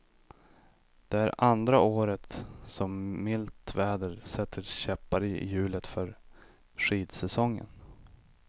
Det är andra året som milt väder sätter käppar i hjulet för skidsäsongen.